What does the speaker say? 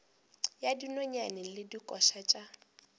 ya dinonyane le dikoša tša